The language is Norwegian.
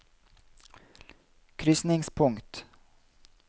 krysningspunkt